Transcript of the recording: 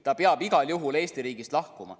Ta peab igal juhul Eesti riigist lahkuma.